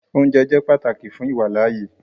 Òunjẹ jẹ́ pátákì fún iwálaàyè